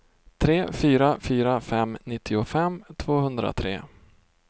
tre fyra fyra fem nittiofem tvåhundratre